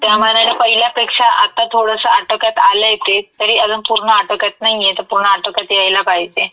त्यामानाने पहिल्यापेक्षा आता थोडसं आटोक्यात आलयं ते तरी अजुन पूर्ण आटोक्यात नाई ये तं पूर्ण आटोक्यात यायला पाहिजे.